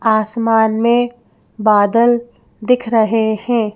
आसमान में बादल दिख रहे हैं।